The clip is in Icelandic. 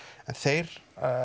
þeir